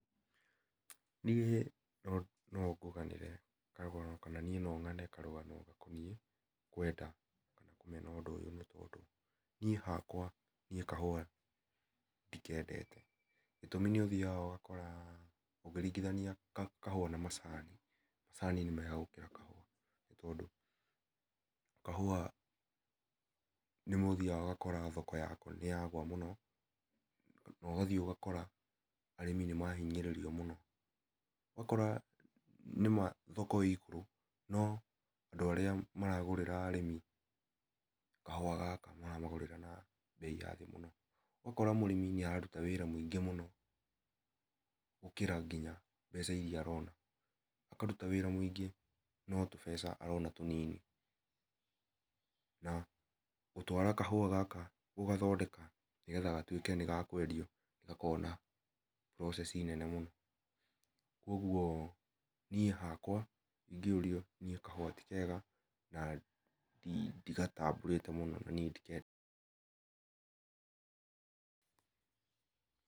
Niĩ no ngũganĩre karũgano gakoniĩ kwenda kũmena ũndũ ũyũ nĩ tondũ niĩ hakwa kahũa ndĩkendete, gĩtũmĩ nĩ ũthĩaga ũgakora ndũngĩringithania kahũa na macani macani nĩ mega gũkĩra kahũa tondũ, kahũa rĩmwe nĩ ũthĩaga ũgakora thoko yako nĩ yagwa mũno kana ũgathiĩ ũgakora arĩmi nĩ mahĩnyĩrĩrio mũno ũgakora nĩma thoko ĩ igũrũ no andũ arĩa maragũrĩra arĩmi kahũa gaka maramagũrĩra na beĩ ya thĩ mũno, ũgakora mũrĩmi nĩ aratũta wĩra mũingĩ mũno gũkĩra nginya mbeca irĩa arona akarũta wĩra mũingĩ no tũbeca arona tũnini na gũtwara kahũa gaka gũgathondeka nĩgetha gatwĩke nĩgakwendio nĩ gakoragwo na process nene mũno kũogũo niĩ hakwa ĩngĩũrio niĩ hakwa kahũa tĩkega na ndĩgatambũrĩte mũno niĩ ndikendete.